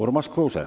Urmas Kruuse.